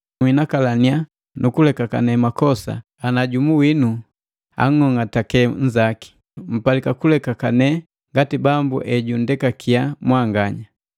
Nhinakalaninya nukulekakane makosa ana jumu winu anng'ong'ateke nzaki. Mpalika kulekakane ngati Bambu ejundekakiya mwanganya.